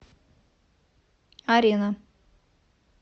арена